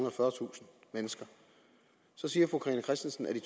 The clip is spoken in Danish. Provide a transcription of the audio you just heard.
og fyrretusind mennesker så siger fru carina christensen at i